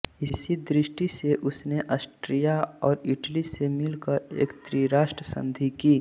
इसी दृष्टि से उसने आस्ट्रिया और इटली से मिलकर एक त्रिराष्ट्र संधि की